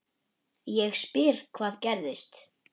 Ég spyr hvað gerðist?